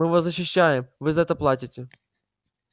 мы вас защищаем вы за это платите